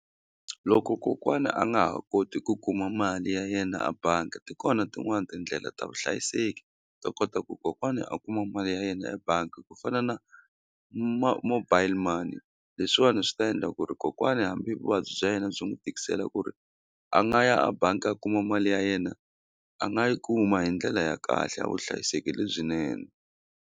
Loko kokwana a nga ha koti ku kuma mali ya yena a bangi ti kona tin'wani tindlela ta vuhlayiseki to kota ku kokwani a kuma mali ya yena ebangi ku fana na mobile money leswiwani swi ta endla ku ri kokwani hambi vuvabyi bya yena byi n'wu tikisela ku ri a nga ya a bangi a kuma mali ya yena a nga yi kuma hi ndlela ya kahle ya vuhlayiseki lebyinene.